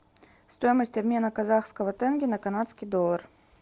стоимость обмена казахского тенге на канадский доллар